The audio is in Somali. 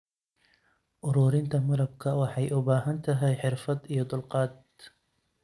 Ururinta malabka waxay u baahan tahay xirfad iyo dulqaad.